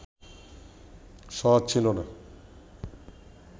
সহজ ছিল না